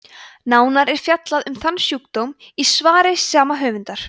nánar er fjallað um þann sjúkdóm í svari sama höfundar